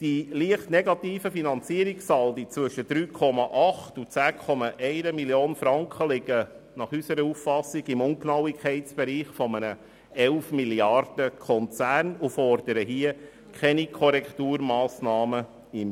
Die leicht negativen Finanzierungssaldi zwischen 3,8 und 10,1 Mio. Franken liegen nach unserer Auffassung im Ungenauigkeitsbereich eines 11-Milliarden-Konzerns und erfordern keine Korrekturmassnahmen im